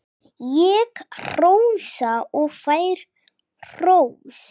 Ég hrósa og fæ hrós.